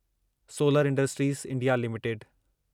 solar industries India limited